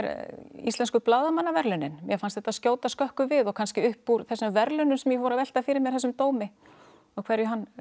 íslensku blaðamannaverðlaunin mér fannst þetta skjóta skökku við og kannski upp úr þessum verðlaunum sem ég fór að velta fyrir mér þessum dómi og hverju hann